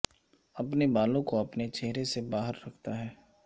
اپنے بالوں کو اپنے چہرے سے باہر رکھتا ہے